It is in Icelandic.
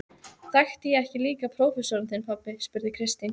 Þekkti ég ekki líka prófessorinn þinn, pabbi? spurði Kristín.